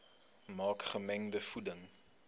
maak gemengde voeding